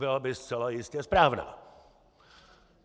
Byla by zcela jistě správná.